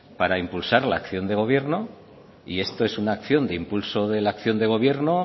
para impulsar la acción de gobierno y esto es una acción de impulso de la acción de gobierno